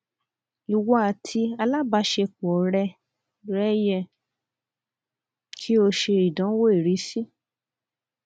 iwọ ati alabaṣepọ rẹ rẹ yẹ ki o ṣe idanwo irisi